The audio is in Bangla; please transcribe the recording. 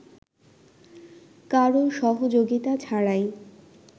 কারো সহযোগিতা ছাড়াই